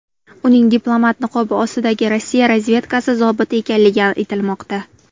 Uning diplomat niqobi ostidagi Rossiya razvedkasi zobiti ekanligi aytilmoqda.